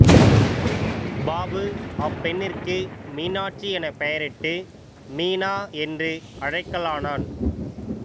பாபு அப்பெண்ணிற்கு மீனாட்சி எனப் பெயரிட்டு மீனா என்று அழைக்கலானான்